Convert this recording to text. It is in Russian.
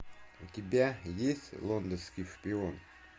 у тебя есть лондонский шпион